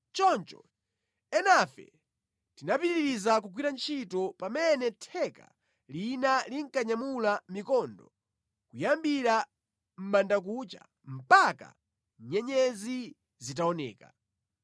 Choncho enafe tinapitiriza kugwira ntchito, pamene theka lina linkanyamula mikondo kuyambira mʼbandakucha mpaka nyenyezi zitaoneka.